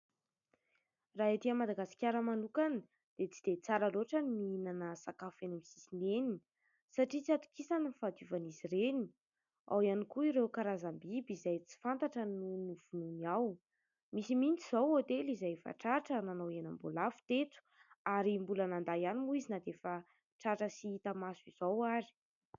Raha etỳ Madagasikara manokana dia tsy dia tsara loatra ny mihinana sakafo eny amin'ny sisiny eny satria tsy atokisana ny fahadiovan'izy ireny, ao ihany koa ireo karazam-biby izay tsy fantatra no novonoiny ao. Misy mihitsy izao hotely izay efa tratra nanao henam-boalavo teto ary mbola nandà ihany moa izy na dia efa tratra sy hita maso izao ary.